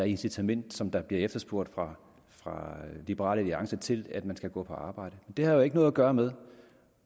incitament som der bliver efterspurgt fra liberal alliances side til at man skal gå på arbejde det har jo ikke noget at gøre med